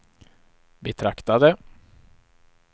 betraktade